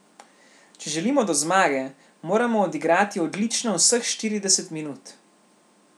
Če želimo do zmage, moramo odigrati odlično vseh štirideset minut.